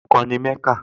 Ọkàn ni Mẹ́kà